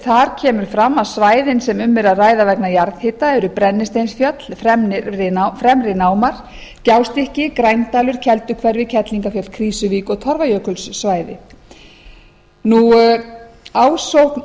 þar kemur fram að svæðin sem um er að ræða vegna jarðhita eru brennisteinsfjöll fremri námar gjástykki grændalur kelduhverfi kerlingarfjöll krýsuvík og torfajökulssvæði ásókn